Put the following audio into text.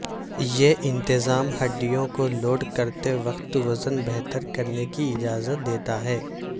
یہ انتظام ہڈیوں کو لوڈ کرتے وقت وزن بہتر کرنے کی اجازت دیتا ہے